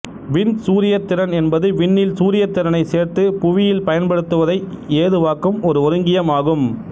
விண் சூரியத் திறன் என்பது விண்ணில் சூரியத் திறனை சேர்த்து புவியில் பயன்படுத்துவதை ஏதுவாக்கும் ஒரு ஒருங்கியம் ஆகும்